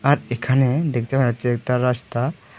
আর এখানে দেখতে পারছি একতা রাস্তা।